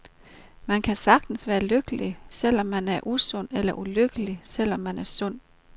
Man kan sagtens være lykkelig, selv om man er usund, eller ulykkelig, selv om man er sund.